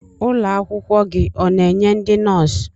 Ụlọ akwụkwọ gị ọ na-enye ndị nọọsụ?